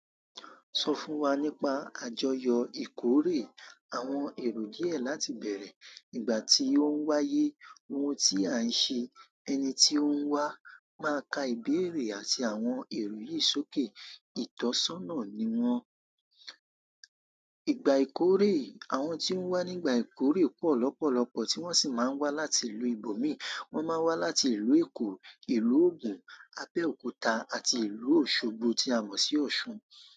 Sọ fún wa nípa àjọyọ̀ ìkórè, àwọn èrò díẹ̀ láti bẹ̀rẹ̀, ìgbà tí ó ń wáyé, ohun tí à ń ṣe, ẹni tí ó ń wá, máa ka ìbéèrè àti àwọn èrò yìí sókè. Itọ́sọ́nà ni wọ́n. Ìgbà ìkórè, àwọn tí ó ń wá nígbà ìkórè pọ̀ lọ́pọ̀lọpọ̀ tí wọ́n sì máa ń wá láti ìlú ìbòmí. Wọ́n máa wá láti ìlú Èkó, ìlú Ogun, Abẹ́òkúta àti ìlú Òṣogbo tí a mọ̀ sí Ọ̀ṣun.